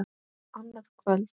Annað kvöld.